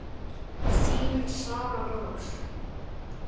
Þín, Sara Rós.